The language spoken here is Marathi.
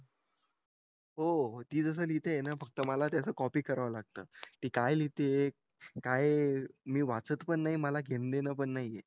हो ती जशी लिहिते ना फक्त मला त्याच कॉपी करावं लागतं ती काय लिहिते काय मी वाचत पण नाही मला घेणं देणं पण नाहीये